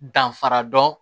Danfara dɔn